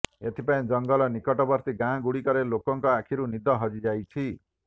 ଏଥିପାଇଁ ଜଙ୍ଗଲ ନିକଟବର୍ତ୍ତୀ ଗାଁ ଗୁଡିକରେ ଲୋକଙ୍କ ଆଖିରୁ ନିଦ ହଜିଯାଇଛି